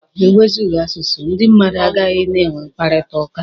E wezụga asụsụ, ndị mmadụ agaghị na-enwe mkparịtaụka.